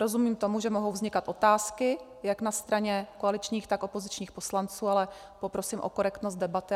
Rozumím tomu, že mohou vznikat otázky jak na straně koaličních, tak opozičních poslanců, ale poprosím o korektnost debaty.